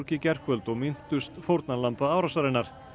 gærkvöld og minntust fórnarlamba árásarinnar